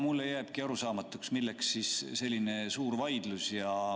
Mulle jääbki arusaamatuks, milleks siis selline suur vaidlus.